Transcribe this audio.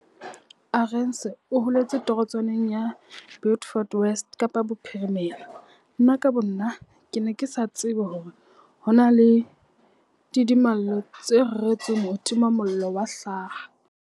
Arendse o holetse torotswaneng ya Beaufort West Kapa Bophirimela. Nna ka bonna, ke ne ke sa tsebe hore ho na le ditimamollo tse reretsweng ho tima mollo wa hlaha.